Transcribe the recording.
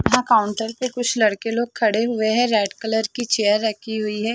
यहाँ काउंटर पे कुछ लड़के लोग खड़े हुए है रेड कलर की चेयर रखी हुई है।